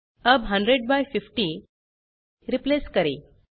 अब 100 by 50 replace करें